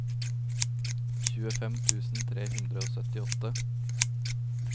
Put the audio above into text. tjuefem tusen tre hundre og syttiåtte